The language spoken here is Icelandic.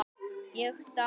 Ég dáði